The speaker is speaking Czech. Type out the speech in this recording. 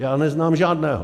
Já neznám žádného.